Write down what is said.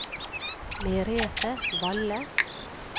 Merethe Valle